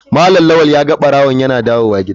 Malam lawal ya ga barawon yana dawowa gida.